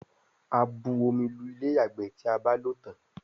a bù omí Lu Ilé-ìyàgbé tí a bá ló tán.